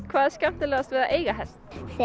hvað er skemmtilegast við að eiga hest